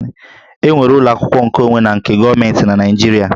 E nwere ụlọ akwụkwọ nkeonwe na nke gọọmentị na Naịjirịa